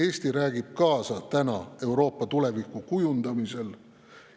Eesti räägib kaasa Euroopa tuleviku kujundamisel.